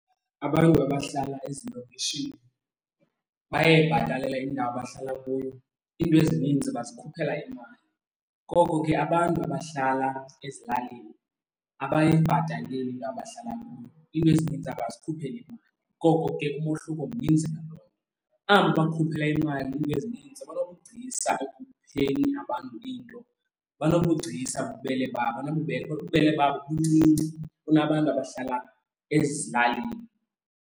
Abantu abahlala ezilokishini bayayibhatalela indawo abahlala kuyo, iinto ezininzi bazikhuphela imali. Koko ke abantu abahlala ezilalini abayibhataleli indawo abahlala kuyo, iinto ezininzi abazikhupheli imali. Ngoko ke umohluko mninzi ngaloo nto. Aba bakhuphela imali iinto ezininzi kwanobugcisa abantu into, banobugcisa bububele, ubububele babo buncinci kunabantu abahlala ezilalini.